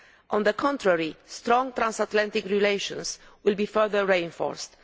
On the contrary, strong transatlantic relations will be further reinforced.